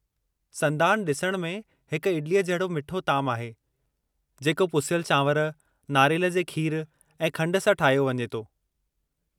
संदानु ॾिसण में हिक इडलीअ जहिड़ो मिठो तामु आहे जेको पुसियलु चावंर, नारेलु जे खीरु ऐं खंड सां ठाहियो वञे थो।